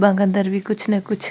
अदंर भी कुछ न कुछ --